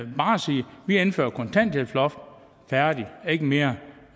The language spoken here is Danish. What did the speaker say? vi indfører et kontanthjælpsloft færdig ikke mere